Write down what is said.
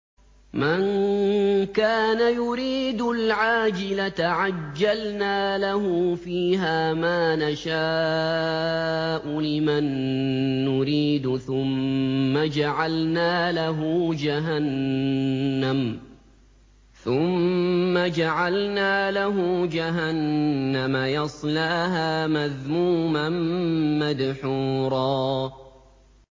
مَّن كَانَ يُرِيدُ الْعَاجِلَةَ عَجَّلْنَا لَهُ فِيهَا مَا نَشَاءُ لِمَن نُّرِيدُ ثُمَّ جَعَلْنَا لَهُ جَهَنَّمَ يَصْلَاهَا مَذْمُومًا مَّدْحُورًا